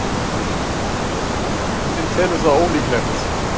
Vísindavefurinn telur það ólíklegt.